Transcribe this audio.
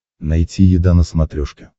найти еда на смотрешке